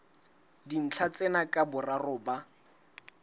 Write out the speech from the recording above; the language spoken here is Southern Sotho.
dintlha tsena ka boraro ba